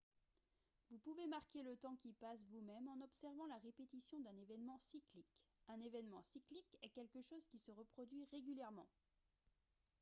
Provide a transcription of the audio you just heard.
vous pouvez marquer le temps qui passe vous-même en observant la répétition d'un événement cyclique un événement cyclique est quelque chose qui se reproduit régulièrement